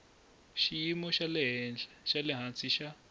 xiyimo xa le hansi xa